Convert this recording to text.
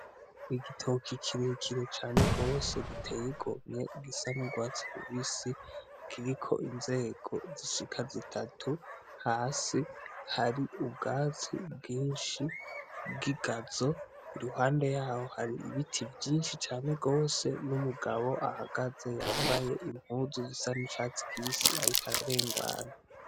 Igitoka ikirekire cane rwose giteyigomye gisanurwa cimibisi giriko inzego zishika zitatu hasi hari ubwazi bwinshi bw'igazo i ruhande yawo hari ibiti vyinshi cane rwose n'umugabo ahagaze yambaye imbe muzu zisa ni cati kibisi arika ararengana.